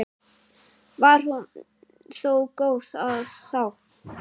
Var hún þó góð þá.